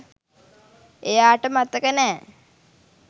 එයාට මතක නෑ